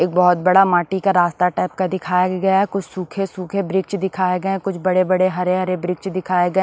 एक बहुत बड़ा माटी का रास्ता टाइप का दिखाया गया है कुछ सूखे-सूखे वृक्ष दिखाए गए हैं कुछ बड़े-बड़े हरे-हरे वृक्ष दिखाए गए --